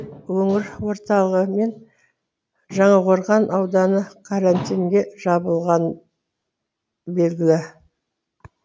өңір орталығы мен жаңақорған ауданы карантинге жабылғаны белгілі